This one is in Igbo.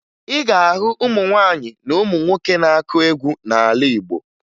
Ị ga-ahụ ụmụ nwaanyị na ụmụ nwoke na-akụ egwu n'ala Igbo